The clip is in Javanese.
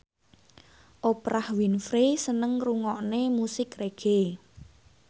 Oprah Winfrey seneng ngrungokne musik reggae